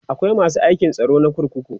akwai masu aikin tsaro na kurkuku